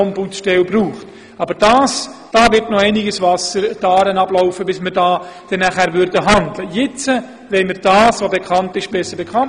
Wenn das Problem der Bekanntheit dann immer noch besteht, müssen wir schauen, ob wir noch besser kommunizieren können oder ob es wirklich eine Ombudsstelle braucht.